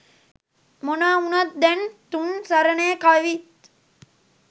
මොනා වුණත් දැන් තුන් සරණේ කවිත්